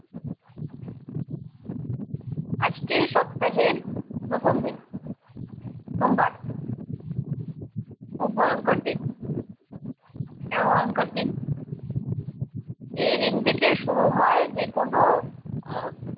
আজকে সপ্তাহের প্রথম দিন সোমবার। খুব ভয়ঙ্কর দিন। কেন ভয়ঙ্কর দিন? এই দিন থেকে শুরু হয় যেকোনো আহ